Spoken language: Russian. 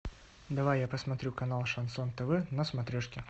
давай я посмотрю канал шансон тв на смотрешке